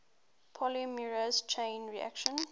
polymerase chain reaction